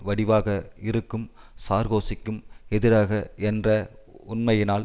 வடிவாக இருக்கும் சார்கோசிக்கும் எதிராக என்ற உண்மையினால்